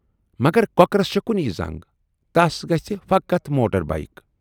مگر کۅکرس چھے کُنۍ زنگ تس گژھِ فقط موٹر بایِک۔